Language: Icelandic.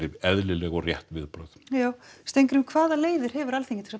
eðlileg og rétt viðbrögð já Steingrímur hvaða leiðir hefur Alþingi til að